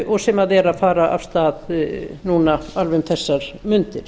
og sem er að fara af stað núna alveg um þessar mundir